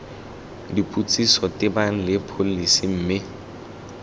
dipotsiso tebang le pholesi mme